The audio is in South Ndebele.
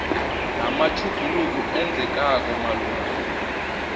namatjhuguluko enzekako malungana